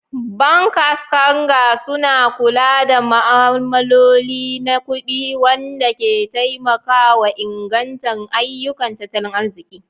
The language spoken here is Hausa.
Bankers kanger suna kula da ma'amaloli na kudi, wanda ke taimakawa inganta ayyukan tattalin arziki.